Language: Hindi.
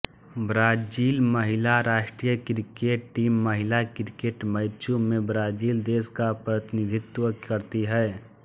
ब्राजील महिला राष्ट्रीय क्रिकेट टीम महिला क्रिकेट मैचों में ब्राजील देश का प्रतिनिधित्व करती है